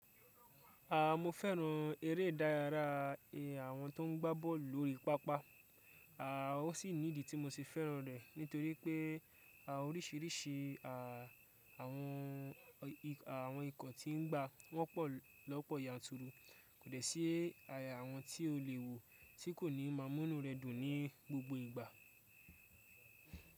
Aah mo fẹ́ràn eré ìdárayá àwọn tó ń gbá bọ́ọ̀lù lórí pápá. A o sì nídìí tí mo se fẹ́ràn rẹ̀ nítorí pé oríṣiríṣi àwọn ikọ̀ tí ń gba wọ́n pọ̀ lọ́pọ̀ yanturu. Kò dẹ̀ sí àwọn tí o lè wò tí kò ní máa múnú rẹ dùn ní gbogbo ìgbà.